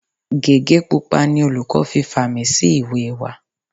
Gege pupa ni olùkọ́ fi fàmì sí ìwé wa.